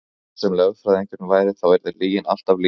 Hver sem lögfræðingurinn væri þá yrði lygin alltaf lygi.